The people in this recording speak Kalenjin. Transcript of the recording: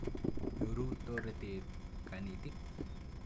Nyoru toretet kanetik.